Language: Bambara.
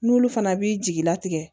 N'olu fana b'i jigilatigɛ